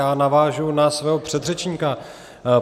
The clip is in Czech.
Já navážu za svého předřečníka.